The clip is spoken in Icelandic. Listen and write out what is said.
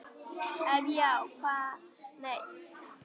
Ef já þá hvaða lið?